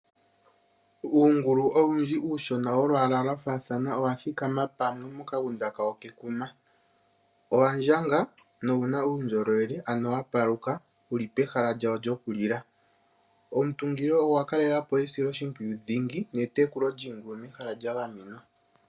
Uungulu owundji uushona wolwaala lwa faathana owa thikama pamwe mokagunda kawo kekuma. Owa ndjanga nowu na uundjolowele, ano wa paluka wu li pehala lyawo lyokulila. Omutungilo ogwa kalela po esiloshimpwiyu dhingi netekulo lyiingulu mehala lya gamenwa.